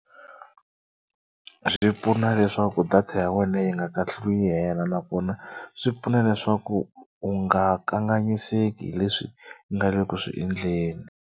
Swi pfuna leswaku data ya wena yi nga kahluli yi hela nakona swi pfuna leswaku u nga kanganyiseki hi leswi nga le ku swi endleni.